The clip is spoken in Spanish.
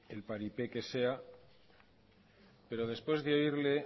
el paripé que sea pero después de oírle